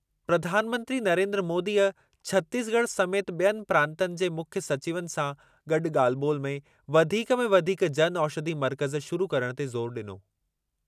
प्रधानमंत्री नरेन्द्र मोदीअ छतीसगढ़ समेति ॿियनि प्रांतनि जे मुख्यु सचिवनि जा गॾु ॻाल्हि ॿोलि में वधीक में वधीक जन औषधि मर्कज़ शुरु करण ते ज़ोरु ॾिनो।